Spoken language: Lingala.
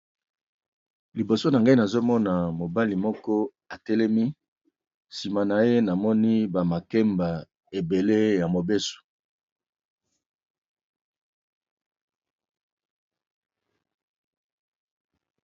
Libosonanga nazomona mobali moko atelemi simanaye namoni bamakembe ebele yamobeso